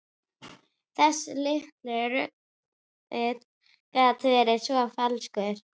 Þessi litli rindill gat verið svo falskur.